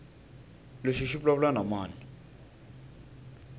lexi xi vulavula na mani